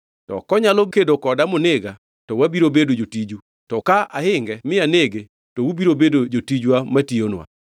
To konyalo kedo koda monega, to wabiro bedo jotiju, to ka ahinge mi anege, to ubiro bedo jotijwa ma tiyonwa.”